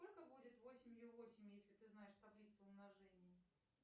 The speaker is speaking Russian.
сколько будет восемью восемь если ты знаешь таблицу умножения